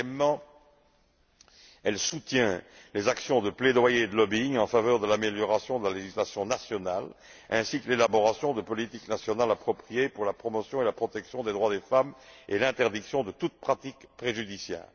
Deuxièmement, elle soutient les actions de plaidoyer et de lobbying en faveur de l'amélioration de la législation nationale ainsi que de l'élaboration de politiques nationales appropriées pour la promotion et la protection des droits des femmes et l'interdiction de toute pratique préjudiciable.